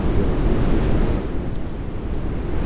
белый клык вышел из вагона